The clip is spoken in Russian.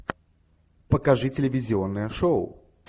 покажи телевизионное шоу